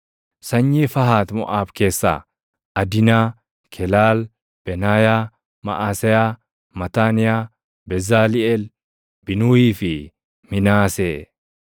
Sanyii Fahat Moʼaab keessaa: Adinaa, Kelaal, Benaayaa, Maʼaseyaa, Mataaniyaa, Bezaliʼeel, Binuuyii fi Minaasee.